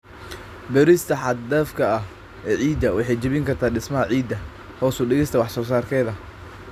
Beerista xad-dhaafka ah ee ciidda waxay jebin kartaa dhismaha ciidda, hoos u dhigista wax soo saarkeeda.